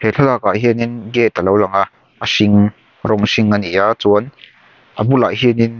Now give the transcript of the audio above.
he thlalak hianin gate a lo lang a a hring rawng hring a ni a chuan a bulah hianin--